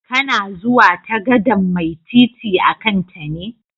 Kana zuwa ta gadan'mai titi a'kan ta ne?